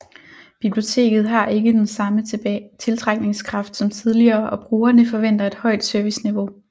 Biblioteket har ikke den samme tiltrækningskraft som tidligere og brugerne forventer et højt serviceniveau